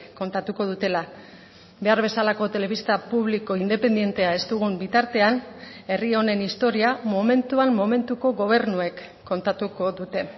kontatuko dutela behar bezalako telebista publiko independentea ez dugun bitartean herri honen historia momentuan momentuko gobernuek kontatuko dute